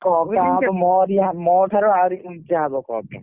Cup ଟା ହବ ମୋରି ମୋ ଠାରୁ ଆହୁରି ଉଚା ହବ cup ଟା।